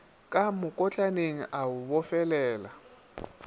ka mokotlaneng a o bofelela